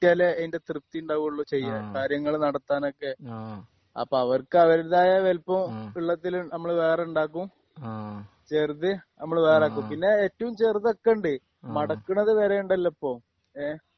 കിട്ടിയാലേ അതിന്റെ തൃപ്തി ഉണ്ടാവോള്ളൂ ചെയ്യാ ഹ്മ് കാര്യങ്ങൾ നടത്താനൊക്കെ ആഹ് അപ്പൊ അവർക്ക് അവരുടേതായ വലുപ്പം ഉള്ളതിൽ നമ്മള് വേറെ ഉണ്ടാക്കും. ആഹ് ചെറുത് നമ്മള് വേറെ ഉണ്ടാക്കും.ആഹ് പിന്നെ ഏറ്റവും ചെറുത് ഒക്കെ ഉണ്ട്. മടക്കുന്നത് വരെ ഉണ്ടല്ലോ ഇപ്പൊ. ഏഹ്